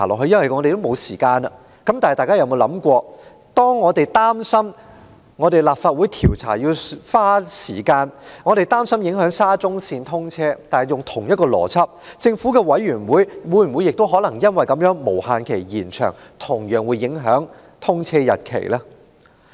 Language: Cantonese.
然而，大家可有想過，我們擔心立法會調查需時，或會影響沙中線通車；根據同一邏輯，政府調查委員會的調查無限期延長，難道不會影響通車日期嗎？